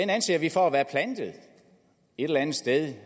anser vi et eller andet sted